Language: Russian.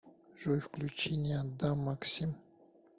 джой включи не отдам максим